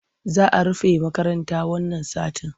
Za a rufe makarata wannan satin.